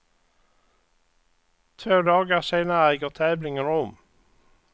Två dagar senare äger tävlingen rum.